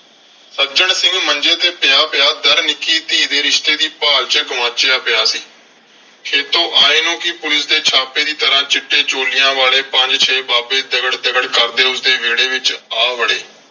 ਸੱਜਣ ਸਿੰਘ ਮੰਜੇ ਤੇ ਪਿਆ ਪਿਆ . ਨਿੱਕੀ ਧੀ ਦੇ ਰਿਸ਼ਤੇ ਦੀ ਭਾਲ ਚ ਗੁਆਚਿਆ ਪਿਆ ਸੀ। ਖੇਤੋਂ ਆਏ ਨੂੰ ਵੀ ਪੁਲਿਸ ਦੇ ਛਾਪੇ ਦੀ ਤਰ੍ਹਾਂ ਚਿੱਟੇ ਚੋਲਿਆਂ ਵਾਲੇ ਪੰਜ ਛੇ ਬਾਬੇ ਦਗੜ ਦਗੜ ਕਰਦੇ ਉਸਦੇ ਵਿਹੜੇ ਵਿਚ ਆ ਵੜੇ।